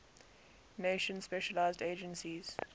nations specialized agencies